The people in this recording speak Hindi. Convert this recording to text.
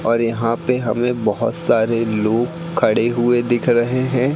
और यहां पे हमें बहोत सारे लोग खड़े हुए दिख रहे हैं।